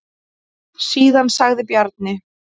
Síðan sagði Bjarni: